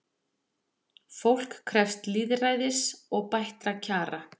Fólk krefst lýðræðis og bættra kjara